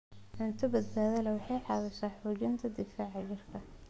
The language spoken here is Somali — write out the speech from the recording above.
Cunto badbaado leh waxay caawisaa xoojinta difaaca jirka.